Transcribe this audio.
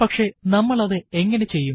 പക്ഷെ നമ്മൾ അതു എങ്ങനെ ചെയ്യും